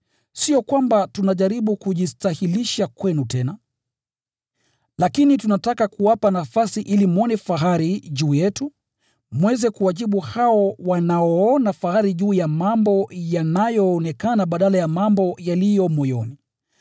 Sio kwamba tunajaribu kujistahilisha kwenu tena, lakini tunataka kuwapa nafasi ili mwone fahari juu yetu mweze kuwajibu hao wanaoona fahari juu ya mambo yanayoonekana badala ya mambo yaliyo moyoni.